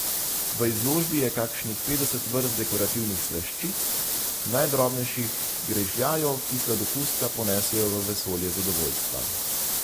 V izložbi je kakšnih petdeset vrst dekorativnih slaščic, najdrobnejših grižljajev, ki sladokusca ponesejo v vesolje zadovoljstva.